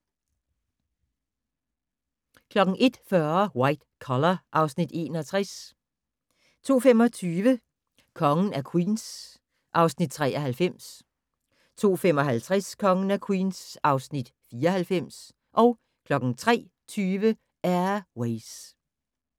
01:40: White Collar (Afs. 61) 02:25: Kongen af Queens (Afs. 93) 02:55: Kongen af Queens (Afs. 94) 03:20: Air Ways